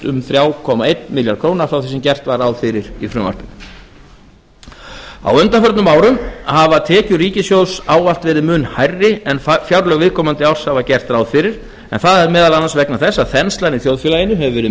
um þrjú komma einn milljarð króna frá því sem gert var ráð fyrir í frumvarpinu á undanförnum árum hafa tekjur ríkissjóðs ávallt verið mun hærri en fjárlög viðkomandi árs hafa gert ráð fyrir en það er meðal annars vegna þess að þenslan í þjóðfélaginu hefur verið